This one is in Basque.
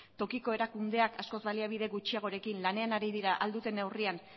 tokiko erakundeak askoz baliabide gutxiagoarekin lanean ari dira ahal duten neurrian